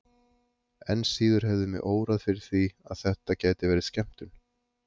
Enn síður hefði mig órað fyrir því að þetta gæti verið skemmtun.